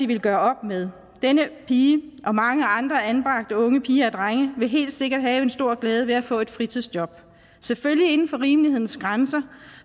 ville gøre op med denne pige og mange andre anbragte unge piger og drenge vil helt sikkert have en stor glæde ved at få et fritidsjob selvfølgelig inden for rimelighedens grænser